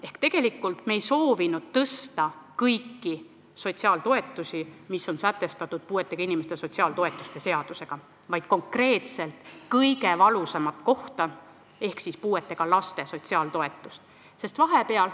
Ehk me ei soovinud tõsta kõiki sotsiaaltoetusi, mis on sätestatud puuetega inimeste sotsiaaltoetuste seadusega, vaid tegelda konkreetselt kõige valusama kohaga ehk puudega laste sotsiaaltoetustega.